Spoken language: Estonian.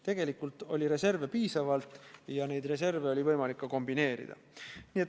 Tegelikult oli reserve piisavalt ja neid reserve oli võimalik ka kombineerida.